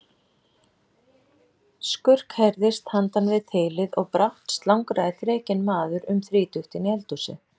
Skurk heyrðist handan við þilið og brátt slangraði þrekinn maður um þrítugt inn í eldhúsið.